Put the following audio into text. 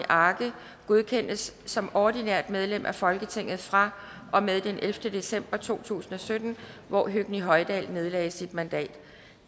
arge godkendes som ordinært medlem af folketinget fra og med den ellevte december to tusind og sytten hvor høgni hoydal nedlagde sit mandat